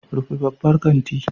Rufe babban kanti.